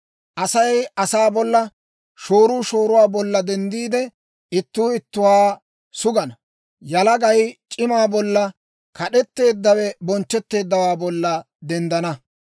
Asay asaa bolla, shooruu shooruwaa bolla denddiide, ittuu ittuwaa sugana. Yalagay c'imaa bolla, kad'etteeddawe bonchchetteeddawaa bolla denddana.